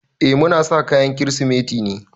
Eh muna sa kayan Kirsimeti ne.